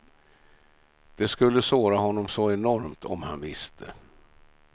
Det skulle såra honom så enormt om han visste.